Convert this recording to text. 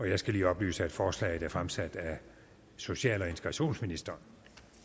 jeg skal lige oplyse at forslaget er fremsat af social og integrationsministeren